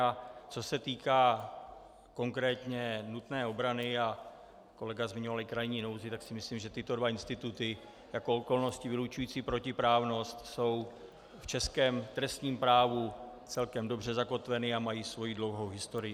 A co se týká konkrétně nutné obrany a kolega zmiňoval i krajní nouzi, tak si myslím, že tyto dva instituty jako okolnosti vylučující protiprávnost jsou v českém trestním právu celkem dobře zakotveny a mají svoji dlouhou historii.